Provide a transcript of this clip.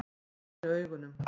Ég lygni augunum.